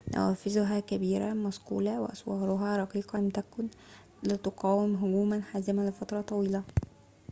نوافذها الكبيرة المصقولة وأسوارها الرقيقة لم تكن لتقاوم هجوماً حازماً لفترة طويلة